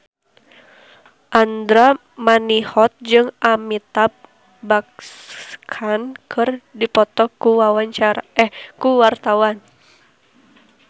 Andra Manihot jeung Amitabh Bachchan keur dipoto ku wartawan